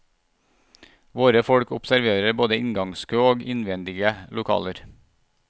Våre folk observerer både inngangskø og innvendige lokaler.